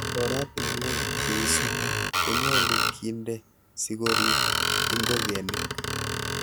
Oratinwek cheisibu konyolu kinde sikorib ingogenik.